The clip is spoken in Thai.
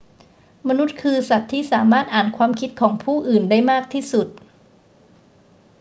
มนุษย์คือสัตว์ที่สามารถอ่านความคิดของผู้อื่นได้มากที่สุด